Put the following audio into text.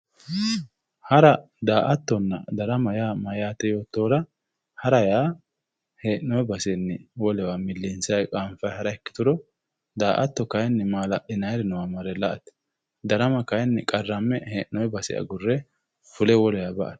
Hara, daa"attonna darama yaa mayate yoottohura ,hara yaa hee'nonni baseni wolewa milinsanni qaafa ikkituro daa"atto kayinni mala'linanniri noowa marre la"ate darama kayinni qarrame hee'nonni baseni wolewa fulle ba"ate.